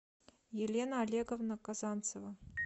елена олеговна казанцева